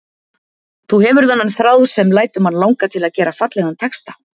Þú hefur þennan þráð sem lætur mann langa til að gera fallegan texta.